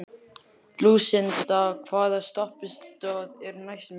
Lúsinda, hvaða stoppistöð er næst mér?